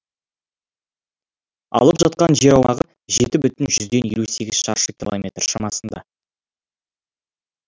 алып жатқан жер аумағы жеті бүтін жүзден елу сегіз шаршы километр шамасында